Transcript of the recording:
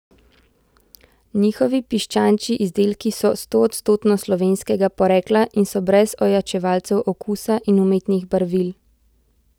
Njihovi piščančji izdelki so stoodstotno slovenskega porekla in so brez ojačevalcev okusa in umetnih barvil.